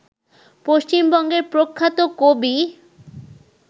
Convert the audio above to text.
পশ্চিমবঙ্গের প্রখ্যাত কবি